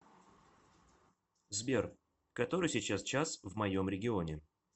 сбер который сейчас час в моем регионе